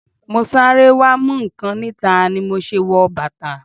Mo sáré wá mú nǹkan níta ni mo o ṣe wọ bàtà.